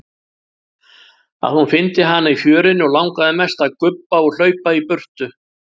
Að hún fyndi hana í fjörunni og langaði mest að gubba og hlaupa í burtu.